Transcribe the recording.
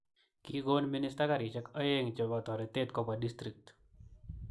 Kigoon minister karishekap oeng chepo toreteet kopwa district